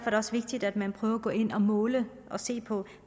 er det også vigtigt at man prøver at gå ind og måle og se på